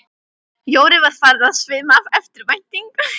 Jóru var farið að svima af eftirvæntingu.